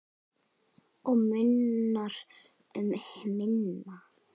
Og munar um minna.